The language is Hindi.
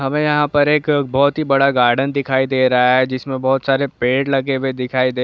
यह पर बहुत ही बड़ा गाडन दिखाई दे रहा हैजिस में बहुत सारे पेड़ लगे दिखाई दे रहे है।